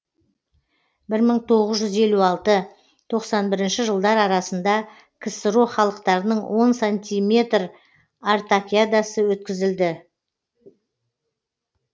бір мың тоғыз жүз елу алты тоқсан бір жылдар арасында ксро халықтарының он сантиметр артакиадасы өткізілді